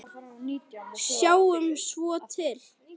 Sjáum svo til.